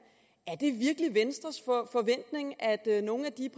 er venstres forventning at nogle af de